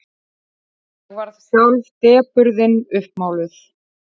Hann varð sjálf depurðin uppmáluð.